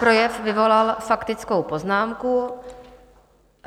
Projev vyvolal faktickou poznámku.